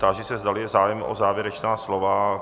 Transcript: Táži se, zdali je zájem o závěrečná slova.